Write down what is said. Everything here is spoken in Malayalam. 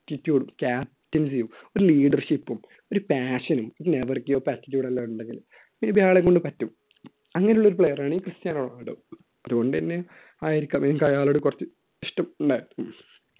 attitude ഉം captaincy ഉം ഒരു leadership ഉം ഒരു passion ഉം ഒരു എല്ലാം ഉണ്ടെങ്കിൽ ഇത് അയാളെ കൊണ്ട് പറ്റും അങ്ങനെയുള്ള ഒരു player ആണ്ഈ ക്രിസ്റ്റ്യാനോ റൊണാൾഡോ അതുകൊണ്ടുതന്നെ ആയിരിക്കാം എനിക്ക് അയാളോട് കുറച്ച് ഇഷ്ടം ഉണ്ടായിരുന്നത്.